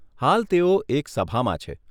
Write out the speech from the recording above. હાલ તેઓ એક સભામાં છે.